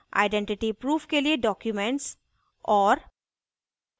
identity proof के लिए documents और